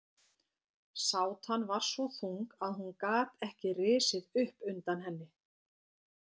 Sátan var svo þung að hún gat ekki risið upp undan henni.